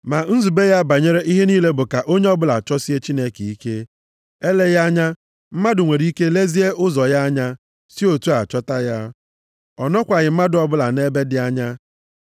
Ma nzube ya banyere ihe niile bụ ka onye ọbụla chọsie Chineke ike. Eleghị anya, mmadụ nwere ike lezie ụzọ ya anya, si otu a chọta ya. Ọ nọkwaghị mmadụ ọbụla nʼebe dị anya.